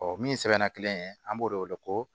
min sɛbɛnna kelen ye an b'o de wele ko